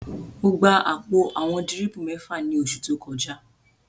Mo gba àpò àwọn dírìpù mẹ́fà ní oṣù tó kọjá